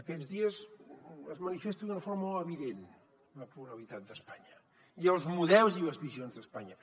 aquests dies es manifesta d’una forma molt evident la pluralitat d’espanya i els models i les visions d’espanya